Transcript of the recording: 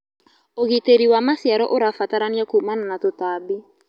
Ũgĩtĩrĩ wa macĩaro ũrabataranĩa kũmana na tũtambĩ